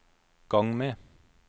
gang med